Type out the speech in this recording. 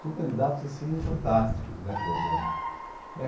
Tinha candidatos, assim, fantásticos, né? Como né